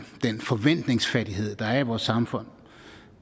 den forventningsfattighed der er i vores samfund